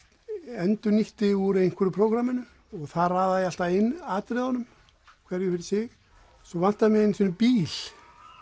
endurnýtti úr einhverju prógramminu og þar raðaði ég alltaf inn atriðunum hverju fyrir sig svo vantaði mig einu sinni bíl